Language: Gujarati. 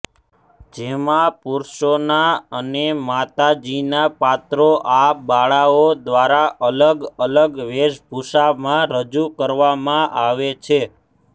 જેમાં પુરુષોના અને માતાજીના પાત્રો આ બાળાઓ દ્વારાજ અલગ અલગ વેશભૂષામાં રજૂ કરવામાં આવે છે